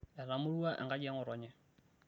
etamorua enkaji e ngotonye